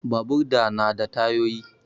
Babur da na da tayoyi.